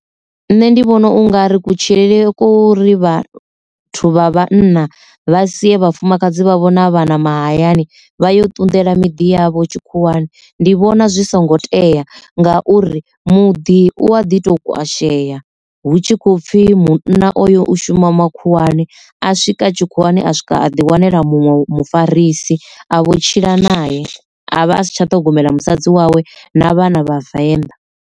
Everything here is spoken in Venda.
Nṋe ndi vhona ungari kutshilele kwori vhathu vha vhanna vha sie vhafumakadzi vha vho na vhana mahayani vha yo ṱunḓela miḓi yavho tshikhuwani ndi vhona zwi songo tea ngauri, muḓi u a ḓi to kwasheya hu tshi khou pfi munna oyo u shuma makhuwani a swika tshikhuwani a swika a ḓi wanela muṅwe mufarisi a vho tshila naye avha a si tsha ṱhogomela musadzi wawe na vhana vhavenḓa.